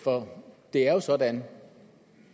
for det er jo sådan